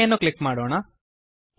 okay ಅನ್ನು click ಮಾಡೋಣ